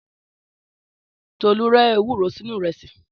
Tòlu rẹ èwúrò sìnú irẹsi